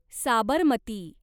Sabarmati